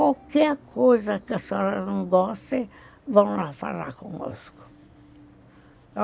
Qualquer coisa que a senhora não goste, vão lá falar conosco.